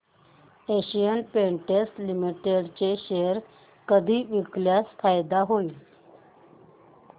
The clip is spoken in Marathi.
एशियन पेंट्स लिमिटेड चे शेअर कधी विकल्यास फायदा होईल